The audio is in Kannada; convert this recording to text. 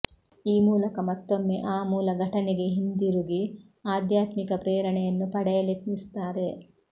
ಈ ಮೂಲಕ ಮತ್ತೊಮ್ಮೆ ಆ ಮೂಲ ಘಟನೆಗೆ ಹಿಂದಿರುಗಿ ಆಧ್ಯಾತ್ಮಿಕ ಪ್ರೇರಣೆಯನ್ನು ಪಡೆಯಲೆತ್ನಿಸುತ್ತಾರೆ